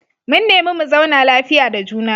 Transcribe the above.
Mun nemi mu zauna lafiya da juna.